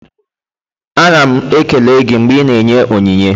Ana m ekele gị mgbe ị na-enye onyinye.